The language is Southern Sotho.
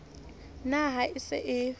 na ha o se o